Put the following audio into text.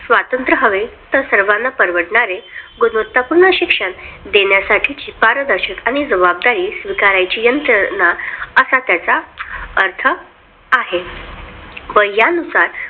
स्वातंत्र्य हवे तर सर्वांना परवडणारे गुणवत्ता पूर्ण शिक्षण देण्याची पारदर्शकता आणि स्वीकारण्याची यंत्रणा असा त्याचा अर्थ आहे. व यानुसार